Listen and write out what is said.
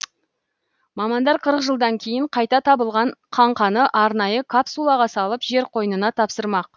мамандар қырық жылдан кейін қайта табылған қаңқаны арнайы капсулаға салып жер қойынына тапсырмақ